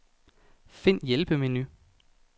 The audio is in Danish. Find hjælpemenu.